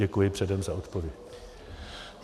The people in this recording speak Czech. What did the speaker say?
Děkuji předem za odpověď.